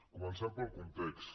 comencem pel context